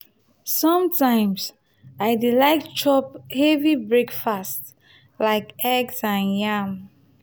some times i dey like chop heavy breakfast like eggs and yam.